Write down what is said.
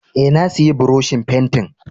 Eh, na siya buroshin fentin.